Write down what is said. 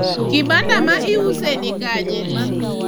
kibanda ma iuse nikanye?